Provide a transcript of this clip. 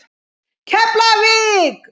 Keflavík